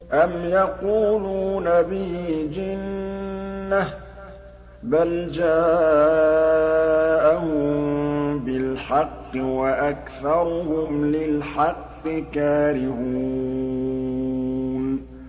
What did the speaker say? أَمْ يَقُولُونَ بِهِ جِنَّةٌ ۚ بَلْ جَاءَهُم بِالْحَقِّ وَأَكْثَرُهُمْ لِلْحَقِّ كَارِهُونَ